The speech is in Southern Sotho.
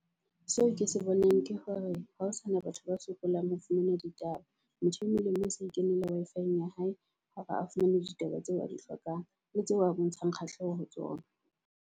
Seo ke se bonang ke hore ha ho sana batho ba sokolang ho fumana ditaba. Motho e mong le mong o sa ikenela Wi-Fi-eng ya hae hore a fumane ditaba tseo a di hlokang, le tseo a bontshang kgahleho ho tsona.